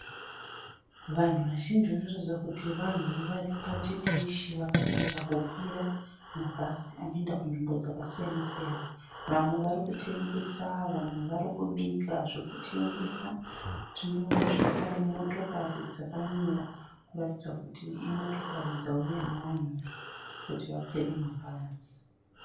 Vanhu vazhinji vanoratidza kuti vanhu ari pachiteshi vakamirira kukwira mabhazi anoenda kunzvimbo dzakasiyana siyana. Vamwe vari kutengesa. Vamwe vari kubika zvekutengesa. Tinoonawo zvakare motokari dzakamira kuratidza kuti imotokari dzauya nevanhu kuti vakwire mabhazi.